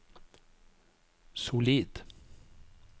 solid